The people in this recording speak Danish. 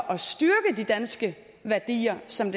og styrke de danske værdier som